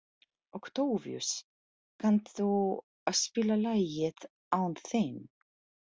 Októvíus, kanntu að spila lagið „Án þín“?